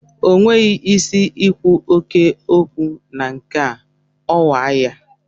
O nweghị isi i kwu oké okwu na nke a, ọ kwa ya?